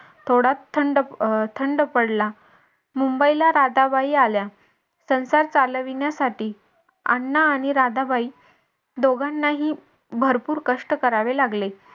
थोडा थंड अं थंड पडला मुंबईला राधाबाई आल्या संसार चालविण्यासाठी अण्णा आणि राधाबाई दोघांनाही भरपूर कष्ट करावे लागले.